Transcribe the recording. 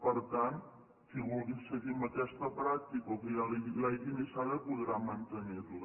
per tant qui vulgui seguir amb aquesta pràctica o ja l’hagi iniciada podrà mantenir la